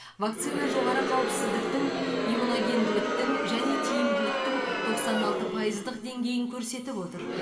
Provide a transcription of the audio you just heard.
вакцина жоғары қауіпсіздіктің иммуногенділіктің және тиімділіктің тоқсан алты пайыздық деңгейін көрсетіп отыр